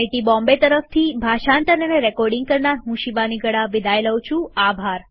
IIT Bombay તરફથી ભાષાંતર અને રેકોર્ડીંગ કરનાર હું શિવાની ગડા વિદાય લઉં છું